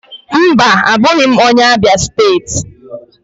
Mba, abụghị m onye Abịa steeti.